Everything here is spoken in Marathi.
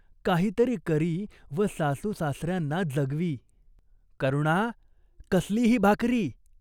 काहीतरी करी व सासूसासर्यांना जगवी. "करुणा, कसली ही भाकरी !